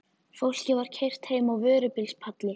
Fólkið var keyrt heim á vörubíls- palli.